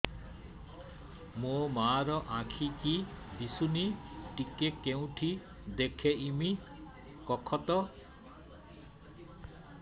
ମୋ ମା ର ଆଖି କି ଦିସୁନି ଟିକେ କେଉଁଠି ଦେଖେଇମି କଖତ